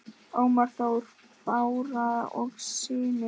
Ómar Þór, Bára og synir.